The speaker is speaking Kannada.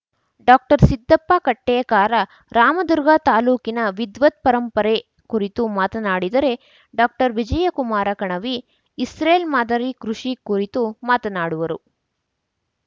ಡಾಕ್ಟರ್ ಸಿದ್ಧಪ್ಪ ಕಟ್ಟೇಕಾರ ರಾಮದುರ್ಗ ತಾಲೂಕಿನ ವಿದ್ವತ್ ಪರಂಪರೆ ಕುರಿತು ಮಾತನಾಡಿದರೆ ಡಾಕ್ಟರ್ ವಿಜಯಕುಮಾರ ಕಣವಿ ಇಸ್ರೇಲ್ ಮಾದರಿ ಕೃಷಿ ಕುರಿತು ಮಾತನಾಡುವರು